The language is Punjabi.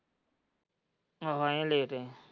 ਆਹੋ ਆਏ ਲੇਟ ਹੈ।